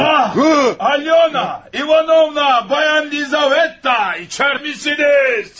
Alyona! İvanovna! Bayan Lizaveta! İçərdə misiniz?